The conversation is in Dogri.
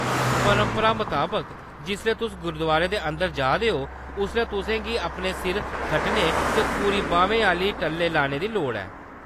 परंपरा मताबक, जिसलै तुस गुरदुआरे दे अंदर जा दे ओ उसलै तुसेंगी अपने सिर खट्टना ते पूरी बांह्‌‌में आह्‌‌‌ले टल्ले लाने दी लोड़ ऐ।